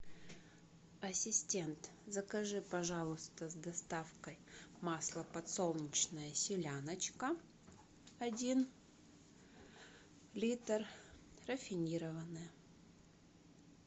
ассистент закажи пожалуйста с доставкой масло подсолнечное селяночка один литр рафинированное